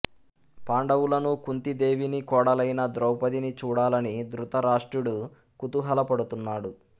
పాండవులను కుంతీదేవిని కోడలైన ద్రౌపదిని చూడాలని దృతరాష్ట్రుడు కుతూహల పడుతున్నాడు